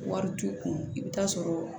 Wari t'u kun i bɛ taa sɔrɔ